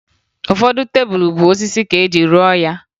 Ụfọdụ tebulu bụ osisi ka eji rụọ ya